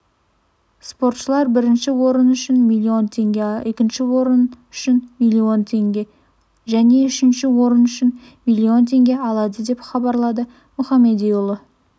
спортшылар бірінші орын үшін миллион теңге екінші орын үшін миллион теңге және үшінші орын үшін миллион теңге алады деп хабарлады мұхамедиұлы